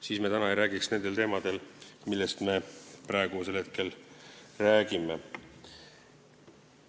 Siis me ei räägiks täna nendel teemadel, millest me räägime.